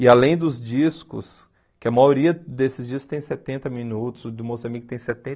E além dos discos, que a maioria desses discos tem setenta minutos, o do Moça Mica tem